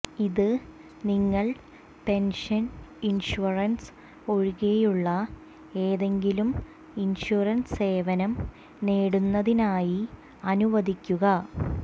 ഇത് നിങ്ങൾ pension insurance ഒഴികെയുള്ള ഏതെങ്കിലും ഇൻഷുറൻസ് സേവനം നേടുന്നതിനായി അനുവദിക്കുന്നു